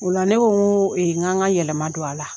Ola la ne ko k'an ka yɛlɛma don a la